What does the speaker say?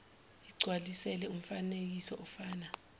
igcwalisele umfanekiso ofana